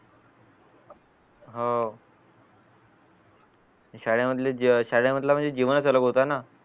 हो शाळेमधलं शाळेमधलं जीवनच होत हाय ना